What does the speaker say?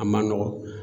A man nɔgɔn